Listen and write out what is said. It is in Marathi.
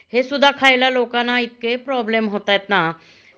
हे सुद्धा खायला लोकांना इतके प्रॉब्लेम होतायत ना